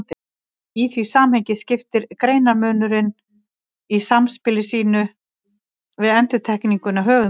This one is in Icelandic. Í því samhengi skiptir greinarmunurinn í samspili sínu við endurtekninguna höfuðmáli.